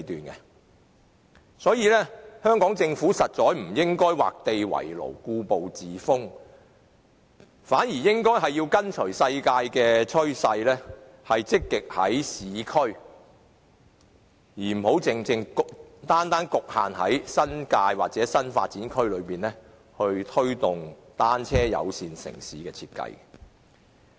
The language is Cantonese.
因此，香港政府實在不應該畫地為牢、故步自封，而是應該跟隨世界的趨勢，積極在市區而非局限於新界或新發展區，推動單車友善城市的設計。